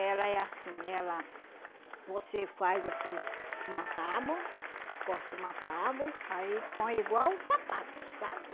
Ela é assim, ela... Você faz assim uma tábua, corta uma tábua, aí põe igual o sapato, sabe?